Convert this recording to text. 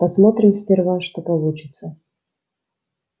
посмотрим сперва что получится